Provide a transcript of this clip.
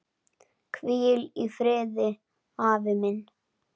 Hvíl í friði, afi minn.